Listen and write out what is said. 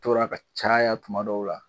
Toora ka caya kuma dɔw la